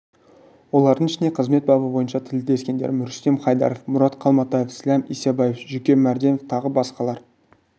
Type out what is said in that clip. олардың ішінде қызмет бабы бойынша тілдескендерім рүстем хайдаров мұрат қалматаев сләм исабаев жүкен марденов тағы басқалар